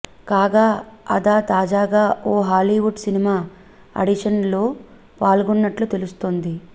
కాగా అదా తాజాగా ఓ హాలీవుడ్ సినిమా ఆడిష న్స్లో పాల్గొన్నట్లు తెలుస్తోంది